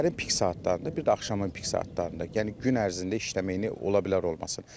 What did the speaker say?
Səhərin pik saatlarında, bir də axşamın pik saatlarında, yəni gün ərzində işləməyinə ola bilər olmasın.